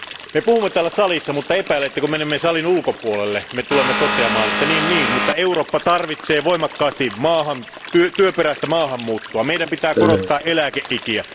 Me puhumme täällä salissa, mutta epäilen, että kun menemme salin ulkopuolelle, me tulemme toteamaan, että niinpä niin, mutta Eurooppa tarvitsee voimakkaasti työperäistä maahanmuuttoa, ja meidän pitää korottaa eläkeikiä.